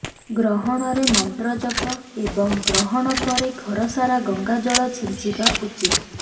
ଗ୍ରହଣରେ ମନ୍ତ୍ର ଜପ ଏବଂ ଗ୍ରହଣ ପରେ ଘରସାରା ଗଙ୍ଗାଜଳ ଛିଞ୍ଚିବା ଉଚିତ୍